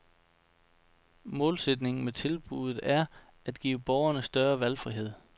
Målsætningen med tilbuddet er, at give borgerne større valgfrihed.